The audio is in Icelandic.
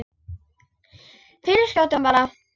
Fyrir skjótum bata.